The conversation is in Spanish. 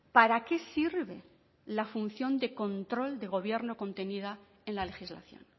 para qué sirve la función de control del gobierno contenida en la legislación